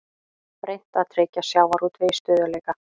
Reynt að tryggja sjávarútvegi stöðugleika